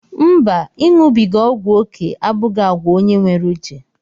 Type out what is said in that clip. Mba, iṅụbiga ọgwụ oké abụghị àgwà onye nwere uche.